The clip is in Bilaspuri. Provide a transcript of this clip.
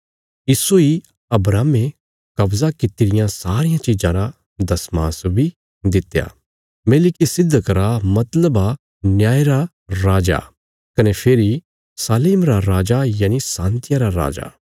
इस्सो इ अब्राहमे कव्जा कित्ती रियां सारियां चिज़ां रा दशमांश बी दित्या मेलिकिसिदक रा मतलबा न्याय रा राजा कने फेरी शालेम रा राजा यनि शान्तिया रा राजा